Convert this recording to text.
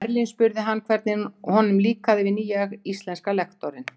Berlín og spurt hann, hvernig honum líkaði við nýja íslenska lektorinn.